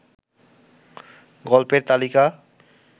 গল্পের তালিকা